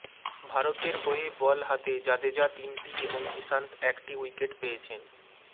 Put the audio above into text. ভারতের হয়ে বল হাতে জাদেজা তিনটি এবং ইশান্ত একটি উইকেট পেয়েছেন